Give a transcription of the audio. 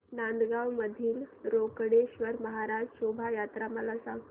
नांदगाव मधील रोकडेश्वर महाराज शोभा यात्रा मला सांग